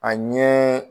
A ɲɛ